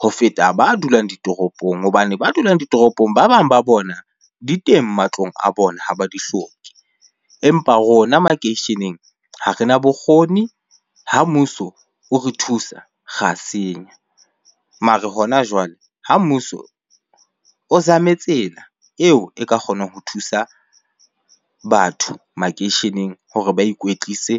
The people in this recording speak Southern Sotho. ho feta ba dulang ditoropong. Hobane ba dulang ditoropong, ba bang ba bona di teng matlong a bona, ha ba di hloke. Empa rona makeisheneng ha rena bokgoni, ha mmuso ore thusa, ra senya. Mara hona jwale, ha mmuso o zame tsela eo e ka kgonang ho thusa batho makeisheneng hore ba ikwetlise.